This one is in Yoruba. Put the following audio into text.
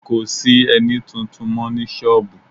Kò sí ẹní tuntun mọ́ ní sọ́ọ̀bù